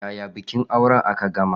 Yaya bikin auren aka gama?